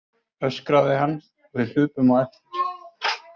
öskraði hann og við hlupum á eftir.